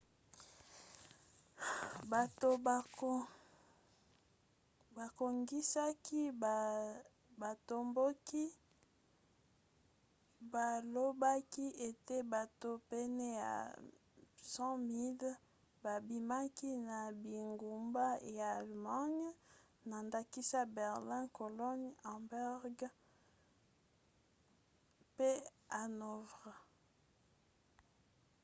bato babongisaki batomboki balobaki ete bato pene ya 100 000 babimaki na bingumba ya allemagne na ndakisa berlin cologne hamburg pe hanovre